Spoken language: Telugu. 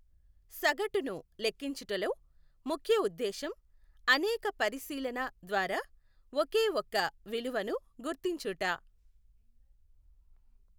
సగటును లెక్కించుటలో ముఖ్య ఉద్దేశ్యం అనేక పరిశీలన ద్వారా ఒకే ఒక్క విలువను గుర్తించుట.